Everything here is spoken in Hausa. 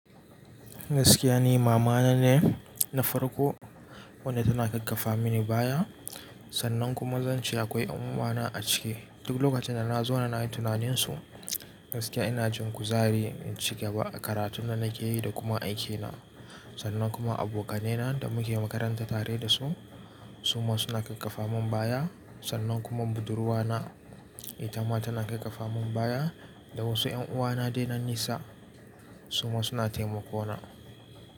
Gaskiya ni mama na ne na farko wanda tana kakkafa mini baya sannan kuma zan ce akwai yan'uwa na a ciki. Duk lokacin da na zo na nayi tunanin su, gaskiya ina jin kuzari in cigaba a karatun da nake yi da kuma aikina sannan kuma abokanai na da muke makaranta tare da su suma suna ƙaffafa min baya sannan kuma budurwa na ita ma tana ƙaffafa min baya da wasu ƴanuwa na dai na nisa suma suna taimako na.